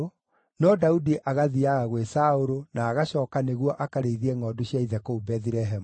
no Daudi agathiiaga gwĩ Saũlũ, na agacooka nĩguo akarĩithie ngʼondu cia ithe kũu Bethilehemu.